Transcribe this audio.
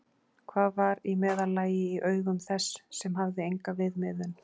Hvað var í meðallagi í augum þess sem hafði enga viðmiðun?